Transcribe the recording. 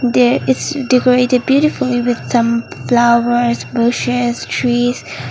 there is decorated beautifully with some flowers bushes trees.